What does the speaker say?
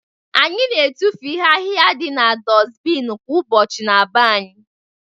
Anyị na-etufu ihe ahịhịa dị b'dosbinu kwa ụbọchị n'be anyị